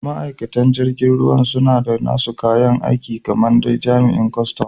Ma'aikatan jirgin ruwan suna da nasu kayan aiki kamar dai jami'an kustum.